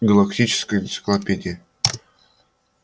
галактическая энциклопедия